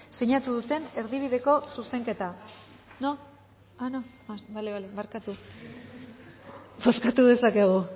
sinatu duten erdibideko zuzenketa no ah no ah bale bale barkatu bozkatu dezakegu